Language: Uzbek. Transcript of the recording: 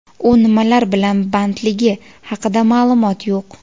U nimalar bilan bandligi haqida ma’lumot yo‘q.